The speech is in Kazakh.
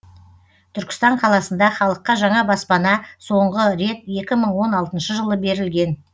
түркістан қаласында халыққа жаңа баспана соңғы рет екі мың он алтыншы жылы берілген